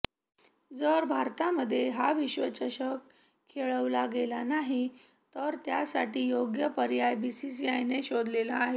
जर भारतामध्ये हा विश्वचषक खेळवला गेला नाही तर त्यासाठी योग्य पर्याय बीसीसीआयने शोधलेला आहे